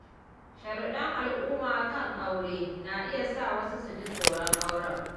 Sharuɗɗan al’umma kan aure na iya sa wasu su ji tsoron auren.